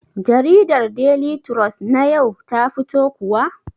Jariɗar Deli trus na yau ta fito kuwa?